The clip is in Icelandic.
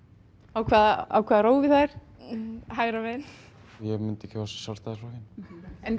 á hvaða á hvaða rófi það er hægra megin ég myndi kjósa Sjálfstæðisflokkinn